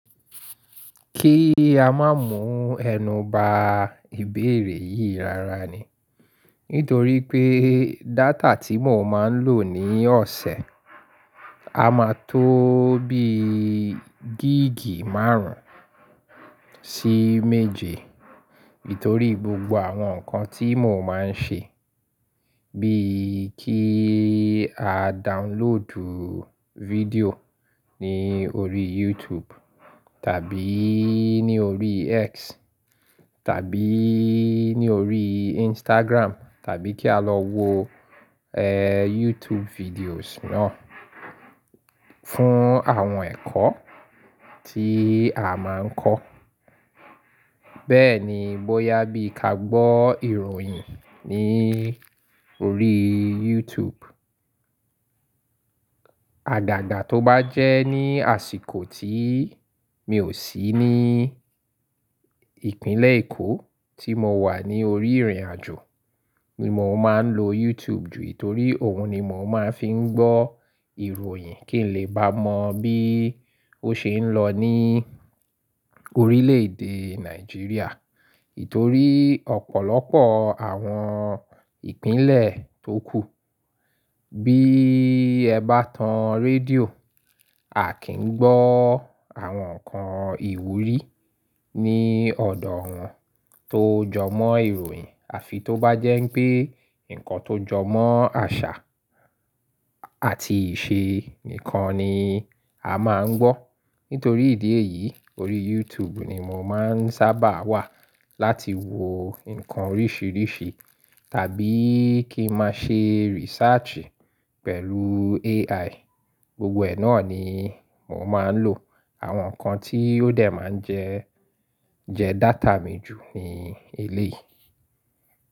Kí a mo mú ẹnu ba ìbéèrè yìí rara ni. Nítorí pé e data tí mò máa ń lò ní ọ̀sẹ̀, a máa tó o bí ii gíìgì márùn-ún sí méje. Nítorí gbogbo àwọn nǹkan tí mò máa ń ṣe, bíi kí a downloadù video ní i orí YouTube tàbí i ní orí X tàbí i ní orí Instagram tàbí kí a lọ wo, ee, YouTube videos náà fún àwọn ẹ̀kọ́ tí a máa ń kọ́. Bẹ́ẹ̀ ni bóyá bí ka gbọ́ ìròyìn ní orí YouTube. Àdàdà tó bá jẹ́ ní àsìkò tí mi ò sí ní ìpínlẹ̀ Èkó tí mo wà ní orí ìrìnàjò, ni mò máa ń lo YouTube jù itorí òun ni mò máa ń fi ń gbọ́ ìròyìn kí n lè bá mọ bí ó ṣe ń lọ ní orílẹ̀ èdè Nàìjíríà. Aa ítorí ọ̀pọ̀lọpọ̀ àwọn ìpínlẹ̀ tó kù, bí i ẹ bá tan rédíò, a kì í gbọ́ àwọn nǹkan ìwúrí ní ọ̀dọ̀ wọn tó jọmọ́ ìròyìn. Àfi tó bá jẹ́ pé nǹkan tó jọmọ́ àṣà àti ìṣe nìkan ni a máa ń gbọ́. Nítorí ìdí èyí, orí YouTube ni mò máa ń sábà wà láti wo nǹkan oríṣiríṣi tàbí kí n máa ṣe research pẹ̀lú u AI. Gbogbo ẹ náà ni mò máa ń lò. Àwọn nǹkan tí ó dẹ̀ máa ń jẹ, jẹ data mi jù ní eléyii.